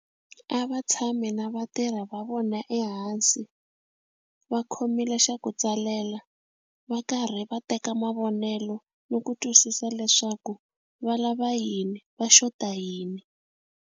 A va tshami na vatirhi va vona ehansi va khomile xa ku tsalela va karhi va teka mavonelo ni ku twisisa leswaku va lava yini va xota yini.